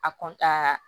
A